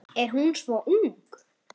Er hún svo ung?